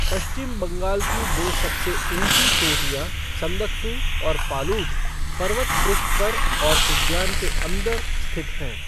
पश्चिम बंगाल की दो सबसे ऊंची चोटियाँ, संदकफू और फालूट, पर्वत पृष्ठ पर और उद्यान के अंदर स्थित हैं।